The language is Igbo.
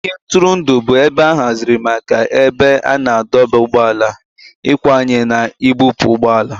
Ogige ntụrụndụ bụ ebe a haziri maka ebe a na-adọba ụgbọala, ịkwanye na ibupu ụgbọ ala